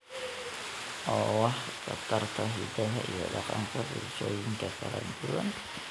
oo wax ka tarta hiddaha iyo dhaqanka bulshooyinka kala duwan.